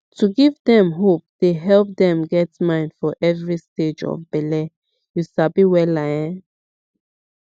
to give dem hope dey help dem get mind for every stage of bele you sabi wella ehn